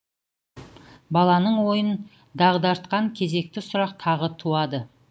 баланың ойын дағдартқан кезекті сұрақ тағы туады